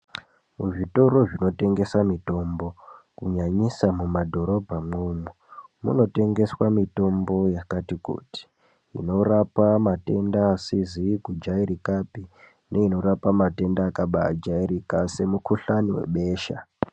Kuzvitoro zvinotengeswa mitombo kunyanyisa mumadhorobha umwomwo munotengeswa mitombo yakati kuti inorapa matenda asizi kujairika neainorapa madenda akajairika semukuhlani nebesha.